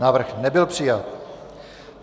Návrh nebyl přijat.